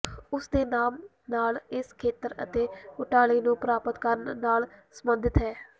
ਉਸ ਦੇ ਨਾਮ ਨਾਲ ਇਸ ਖੇਤਰ ਅਤੇ ਘੁਟਾਲੇ ਨੂੰ ਪ੍ਰਾਪਤ ਕਰਨ ਨਾਲ ਸੰਬੰਧਿਤ ਹੈ